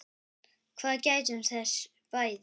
Við gættum þess bæði.